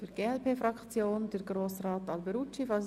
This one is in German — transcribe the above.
Für die glp-Fraktion hat nun Herr Grossrat Alberucci das Wort.